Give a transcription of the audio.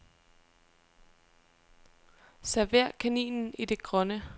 Server kaninen i det grønne.